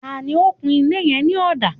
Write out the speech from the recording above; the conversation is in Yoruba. Ta ni ó kun ilé yẹn ní ọ̀dà?